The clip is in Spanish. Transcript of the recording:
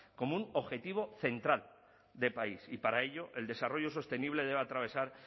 como un objetivo central de país y para ello el desarrollo sostenible debe atravesar